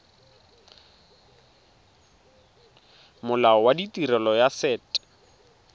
molao wa tirelo ya set